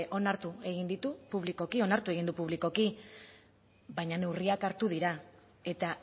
onartu egin ditu publikoki onartu egin du publikoki baina neurriak hartu dira eta